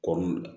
Kɔ